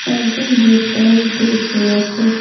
একজন রেড কালারের ড্রেস পরে আছে।